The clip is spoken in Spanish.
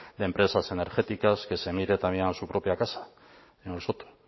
de empresas energéticas que se mire también a su propia casa señor soto